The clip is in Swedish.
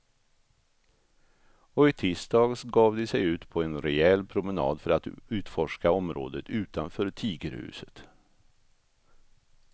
Och i tisdags gav de sig ut på en rejäl promenad för att utforska området utanför tigerhuset.